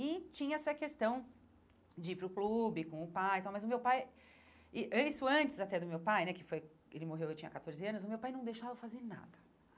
E tinha essa questão de ir para o clube, com o pai e tal, mas o meu pai... e an Isso antes até do meu pai, né, que foi... Ele morreu, eu tinha catorze anos, o meu pai não deixava eu fazer nada.